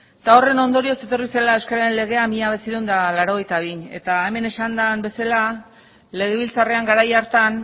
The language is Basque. eta horren ondorioz etorri zela euskararen legea mila bederatziehun eta laurogeita bian eta hemen esan den bezala legebiltzarrean garai hartan